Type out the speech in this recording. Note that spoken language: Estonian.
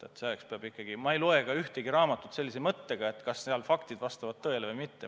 Ma ei loe ka ühtegi raamatut sellise mõttega, et kas seal kirjas olev vastab tõele või mitte.